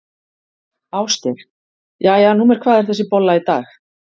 Ásgeir: Jæja, númer hvað er þessi bolla í dag?